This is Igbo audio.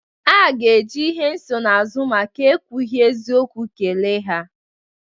A ga-eji ihe nsonaazụ maka ekwughi eziokwu kele ha.